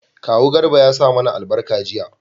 kawu garba ya sa mana albarka jiya